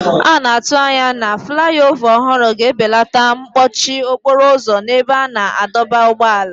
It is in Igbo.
A na-atụ anya na fulaiova ọhụrụ ga-ebelata mkpọchi okporo ụzọ n'ebe a na-adọba ụgbọala.